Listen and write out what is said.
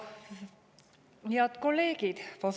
Head kolleegid!